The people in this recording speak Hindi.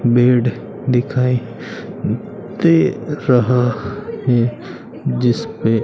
बेड दिखाई दे रहा है जिसपे--